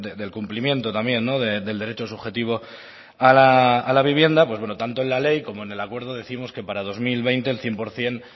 del cumplimiento también del derecho subjetivo a la vivienda tanto en la ley como en el acuerdo décimos que para dos mil veinte el cien por ciento